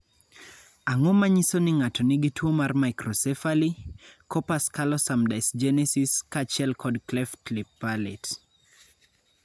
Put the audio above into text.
Ang�o ma nyiso ni ng�ato nigi tuo mar Microcephaly, corpus callosum dysgenesis kaachiel kod cleft lip palate?